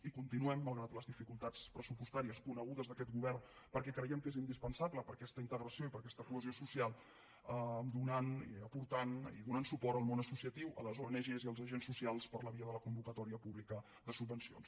i continuem malgrat les dificultats pressupostàries conegudes d’aquest govern perquè creiem que és indispensable per a aquesta integració i per a aquesta cohesió social donant aportant i donant suport al món associatiu a les oenagés i als agents socials per la via de la convocatòria pública de subvencions